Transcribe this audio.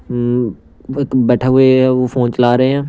हम एक बैठे हुए हैं वह फोन चला रहे हैं।